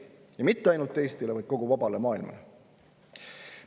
Ja mitte ainult Eestile, vaid kogu vabale maailmale.